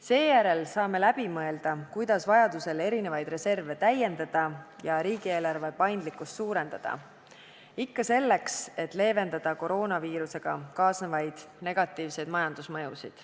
Seejärel saame läbi mõelda, kuidas vajadusel neid reserve täiendada ja riigieelarve paindlikkust suurendada – ikka selleks, et leevendada koroonaviirusega kaasnevaid negatiivseid majandusmõjusid.